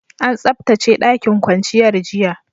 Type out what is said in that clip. An tsabtace ɗakin kwanciyar, jiya.